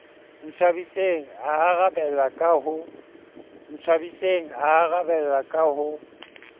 ntshwabiseng a arabella ka ho